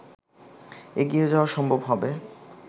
এগিয়ে যাওয়া সম্ভব হবে